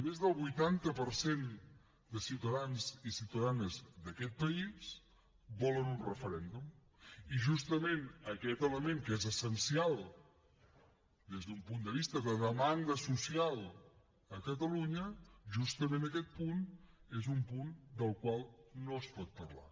més del vuitanta per cent de ciutadans i ciutadanes d’aquest país volen un referèndum i justament aquest element que és essencial des d’un punt de vista de demanda social a catalunya justament aquest punt és un punt del qual no es pot parlar